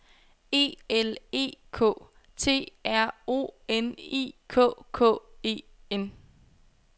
E L E K T R O N I K K E N